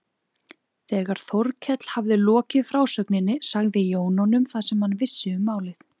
Þegar Þórkell hafði lokið frásögninni sagði Jón honum það sem hann vissi um málið.